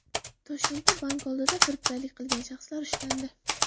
Toshkentda bank oldida firibgarlik qilgan shaxslar ushlandi.